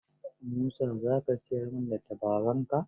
Musa za ka siyar min da tabaronka?